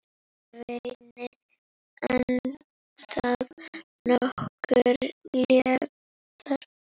Svenni andað nokkru léttar.